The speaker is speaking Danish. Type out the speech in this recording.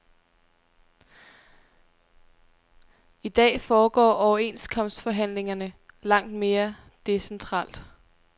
I dag foregår overenskomstforhandlingerne langt mere decentralt.